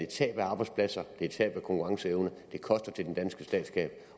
tab af arbejdspladser det giver tab af konkurrencevne det koster til den danske statskasse